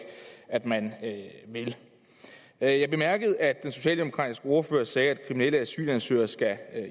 at man vil jeg bemærkede at den socialdemokratiske ordfører sagde at kriminelle asylansøgere skal